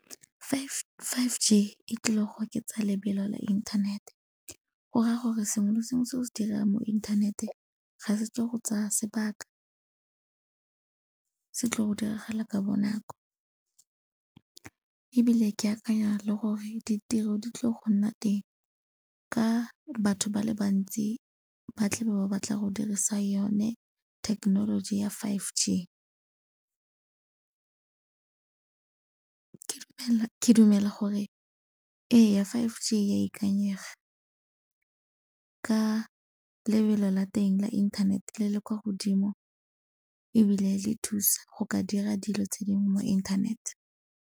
five G e tlile go oketsa lebelo la inthanete. Go raya gore sengwe le sengwe se o se dirang mo inthaneteng ga se tlo go tsaya sebaka, se tlile go diragala ka bonako. Ebile ke akanya le gore ditiro di tlile go nna teng ka batho ba le bantsi ba tle be ba batla go dirisa yone thekenoloji ya five G. Ke dumela gore ee, five G e ya ikanyega ka lebelo la teng la inthanete le le kwa godimo ebile le thusa go ka dira dilo tse dingwe mo inthanete.